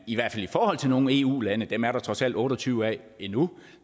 i hvert fald i nogle eu lande dem er der trods alt otte og tyve af endnu